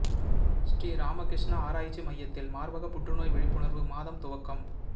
ஸ்ரீ ராமகிருஷ்ணா ஆராய்ச்சி மையத்தில் மாா்பக புற்றுநோய் விழிப்புணா்வு மாதம் துவக்கம்